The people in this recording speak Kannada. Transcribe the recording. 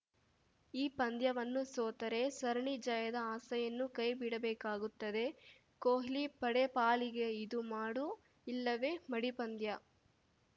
ಈ ಪಂದ್ಯವನ್ನು ಸೋತರೆ ಸರಣಿ ಜಯದ ಆಸೆಯನ್ನು ಕೈಬಿಡಬೇಕಾಗುತ್ತದೆ ಕೊಹ್ಲಿ ಪಡೆ ಪಾಲಿಗೆ ಇದು ಮಾಡು ಇಲ್ಲವೇ ಮಡಿ ಪಂದ್ಯ